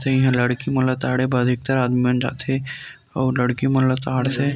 इहाँ लड़की मन ताड़े बर एकता आदमी मन जाथे अऊ लड़की मन ल ताड़ थे।